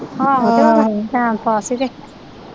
ਆਹੋ ਆਹੋ time pass ਈ ਕੇ।